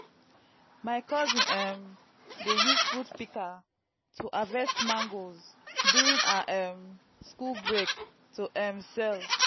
my cousin um dey use fruit pika to harvest mangoes duirng her um school break to um sell